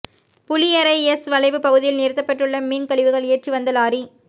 Puliyarai S வளைவு பகுதியில் நிறுத்தப்பட்டுள்ள மீன் கழிவுகள் ஏற்றி வந்த லாரி